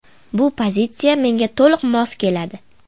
Bu pozitsiya menga to‘liq mos keladi.